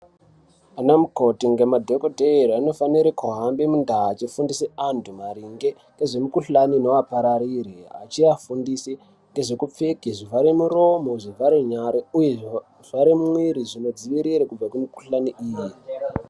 Ana mukoti ngemadhogodheya anofana kuhamba mundaa achifundise vantu maringe ngezvemikuhlani inovaparire achiafundise nezvekupfeke zvivhere muromo, zvivhare nyare, uye zvivhare mwiri zvinodzivirire kubva kumukuhlani iyi.